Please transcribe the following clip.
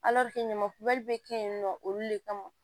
ɲamakubali be kɛ yen nɔ olu de kama